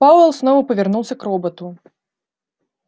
пауэлл снова повернулся к роботу